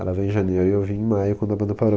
Ela veio em janeiro e eu vim em maio quando a banda parou.